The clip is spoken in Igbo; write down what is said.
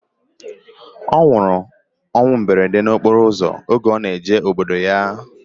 Ọ nwụrụ na mberede okporo ụzọ oge ọ na-eje obodo ya